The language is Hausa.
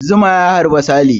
Zuma ya harbi Sale.